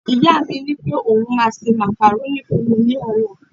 ìyá mi ni pe oun ma se macaroni fún mi ní ọlá